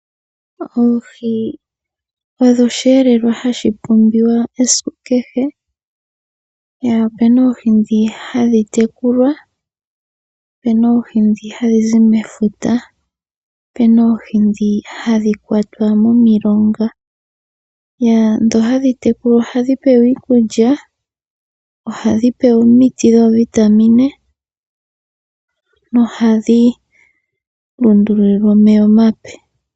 Oohi odho osheelelwa hashi pumbiwa esiku kehe. Opuna oohi ndhi hadhi tekulwa, opuna oohi ndhi hadhi zi mefuta, opuna oohi ndhi hadhi kwatwa momilonga. Ndhi hadhi tekulwa ohadhi pewa iikulya, ohadhi pewa omiti dhoovitamine nohadhi lundululilwa omeya omape.